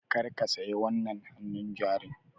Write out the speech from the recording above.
Kar ka saya wannan hannun jarin!